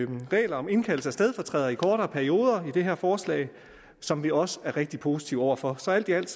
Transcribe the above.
nogle regler om indkaldelse af stedfortrædere i kortere perioder i det her forslag som vi også er rigtig positive over for så alt i alt